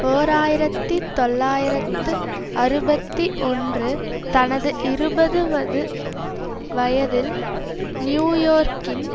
ஓர் ஆயிரத்தி தொள்ளாயிரத்து அறுபத்தி ஒன்று தனது இருபது வது வயதில் நியூயோர்கின்